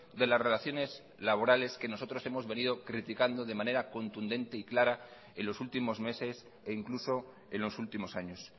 de las relaciones laborales que nosotros hemos venido criticando de manera contundente y clara en los últimos meses e incluso en los últimos años